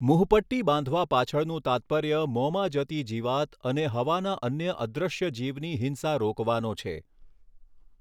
મુહપટ્ટી બાંધવા પાછળનું તાત્પર્ય મોંમાં જતી જીવાત અને હવાના અન્ય અદ્રશ્ય જીવની હિંસા રોકવાનો છે.